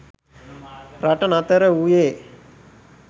රට නතර වූයේ